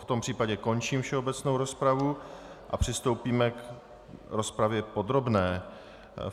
V tom případě končím všeobecnou rozpravu a přistoupíme k rozpravě podrobné.